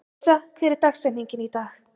Gunnsa, hver er dagsetningin í dag?